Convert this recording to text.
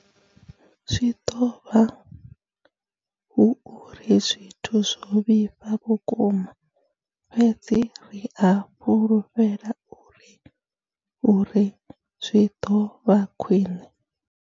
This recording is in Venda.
Zwi ḓo vha hu uri zwithu zwo vhifha vhukuma, fhedzi ri a fhulufhela uri zwi ḓo vha khwiṋe.